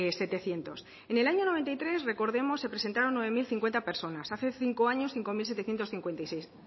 setecientos en el año noventa y tres recordemos se presentaron nueve mil cincuenta personas hace cinco años cinco mil setecientos cincuenta y seis